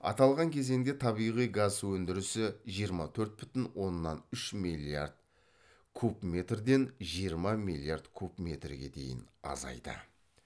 аталған кезеңде табиғи газ өндірісі жиырма төрт бүтін оннан үш миллиард куб метрден жиырма миллиард куб метрге дейін азайды